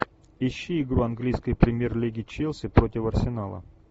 ищи игру английской премьер лиги челси против арсенала